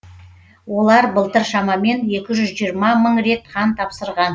олар былтыр шамамен екі жүз жиырма мың рет қан тапсырған